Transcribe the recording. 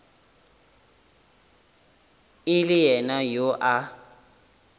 e le yena yo a